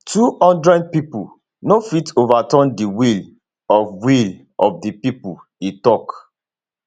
twohundred pipo no fit overturn di will of will of di pipo e tok